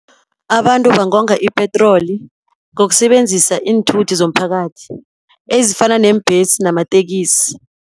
Abantu bangonga ipetroli ngokusebenzisa iinthuthi, zomphakathi ezifana neembhesi namatekisi.